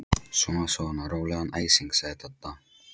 Svona svona, rólegan æsing sagði Dadda.